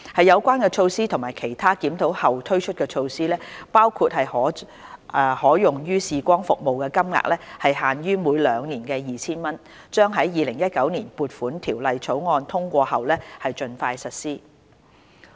有關措施及其他檢討後推出的措施，包括將可用於視光服務的金額限於每兩年 2,000 元，將於《2019年撥款條例草案》通過後盡快實施。